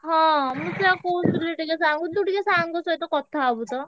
ହଁ ମୁଁ ସେଇଆ କହୁଥିଲି ଟିକେ sir ଙ୍କୁ ତୁ ଟିକେ sir ଙ୍କ ସହିତ କଥା ହବୁ ତ।